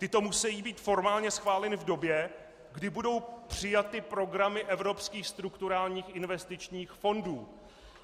Tyto musejí být formálně schváleny v době, kdy budou přijaty programy evropských strukturálních investičních fondů."